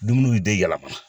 Dumuni bi den yɛlɛma .